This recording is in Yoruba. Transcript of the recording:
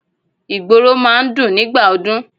Ìgboro máa ń dùn nígbà ọdún.